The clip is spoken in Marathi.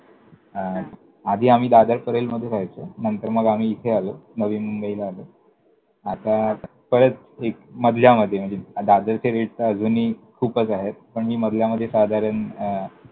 हा! आधी आम्ही दादर परेलमध्ये राहायचो. नंतर मग आम्ही इथे आलो, नवी मुंबईला आलो. आता परत एक मधल्यामध्ये म्हणजे दादरचे rate तर अजूनही खूपच आहेत. मी मधल्यामध्ये साधारण अं